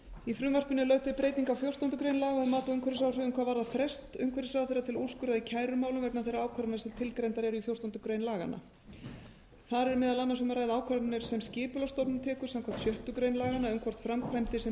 í frumvarpinu er lögð til breyting á fjórtándu grein laga um mat á umhverfisáhrifum hvað varðar frest umhverfisráðherra til að úrskurða í kærumálum vegna þeirra ákvarðana sem tilgreindar í fjórtándu greinar laganna þar er meðal annars um að ræða ákvarðanir sem skipulagsstofnun tekur samkvæmt sjöttu grein laganna um hvort framkvæmdir sem